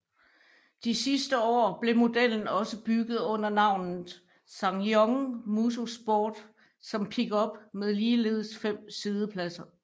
De sidste år blev modellen også bygget under navnet SsangYong Musso Sport som pickup med ligeledes fem siddepladser